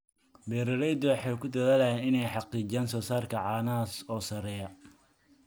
Beeraleydu waxay ku dadaalaan inay xaqiijiyaan soosaarka caanaha oo sarreeya.